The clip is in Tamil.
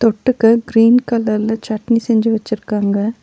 தொட்டுக்க க்ரீன் கலர்ல சட்னி செஞ்சு வச்சுருக்காங்க.